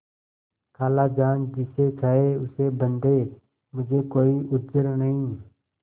खालाजान जिसे चाहें उसे बदें मुझे कोई उज्र नहीं